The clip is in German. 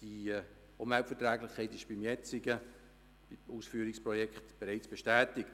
Die Umweltverträglichkeit ist beim jetzigen Ausführungsprojekt bereits bestätigt.